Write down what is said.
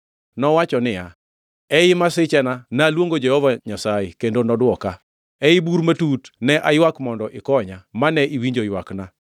Nowacho niya, “Ei masichena naluongo Jehova Nyasaye kendo nodwoka. Ei bur matut ne aywak mondo ikonya mane iwinjo ywakna.